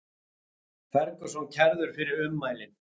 Ferguson kærður fyrir ummælin